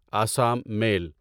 Assam میل